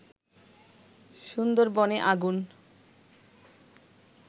সুন্দরবনে আগুন